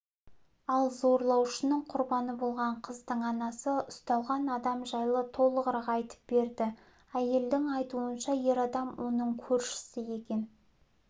ал зорлаушының құрбаны болған қыздың анасы ұсталған адам жайлы толығырақ айтып берді әйелдің айтуынша ер адам оның көршісі екен